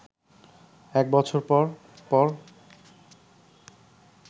এক বছর পর পর